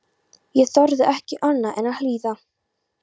Ég þorði ekki annað en að hlýða.